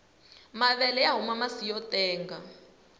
mavele mahuma masi motenga